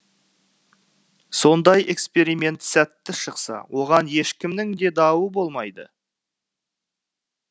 сондай эксперимент сәтті шықса оған ешкімнің де дауы болмайды